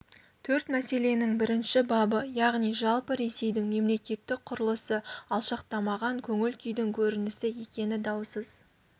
төрт мәселенің бірінші бабы яғни жалпы ресейдің мемлекеттік құрылысы алшақтамаған көңіл күйдің көрінісі екені даусыз